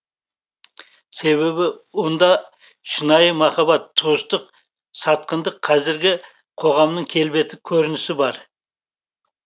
себебі онда шынайы махаббат туыстық сатқындық қазіргі қоғамның келбеті көрінісі бар